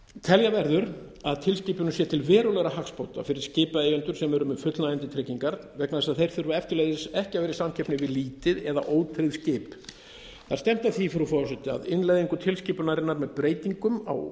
telja verður að tilskipunin sé til verulegra hagsbóta fyrir skipaeigendur sem eru með fullnægjandi tryggingar vegna þess að þeir þurfa eftirleiðis ekki að vera í samkeppni við lítil eða ótryggð skip það er stefnt að því frú forseti að innleiðingu tilskipunarinnar með breytingum á